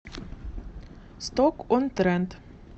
сток он трент